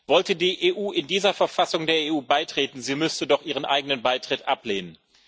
Wollte die EU in dieser Verfassung der EU beitreten, sie müsste doch ihren eigenen Beitritt ablehnen.